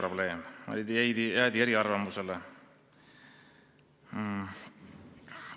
Jäädi erinevatele arvamustele.